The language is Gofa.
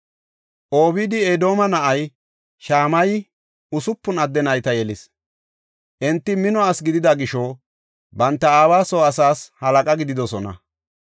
Obeed-Edooma na7ay Shamayey usupun adde nayta yelis; enti mino asi gidida gisho, banta aawa soo asaas halaqa gididosona.